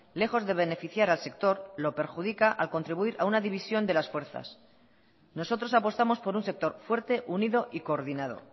lejos de beneficiar al sector lo perjudica al contribuir a una división de las fuerzas nosotros apostamos por un sector fuerte unido y coordinado